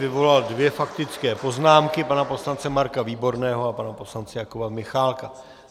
Vyvolal dvě faktické poznámky, pana poslance Marka Výborného a pana poslance Jakuba Michálka.